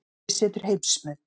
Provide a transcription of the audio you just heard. Ofurhugi setur heimsmet